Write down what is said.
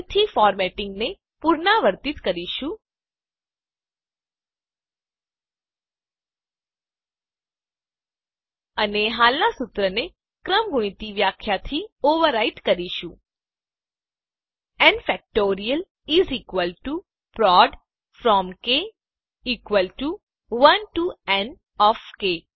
ફરીથી ફોર્મેટીંગને પુનરાવર્તીત કરીશું અને હાલનાં સૂત્રને ક્રમગુણિત વ્યાખ્યાથી ઓવરરાઈટ કરીશું n factorial is equal to prod from k 1 to n of કે